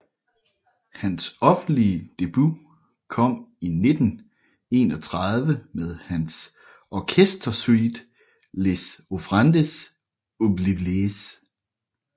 Hans offentlige debut kom i 1931 med hans orkestersuite Les offrandes oubliées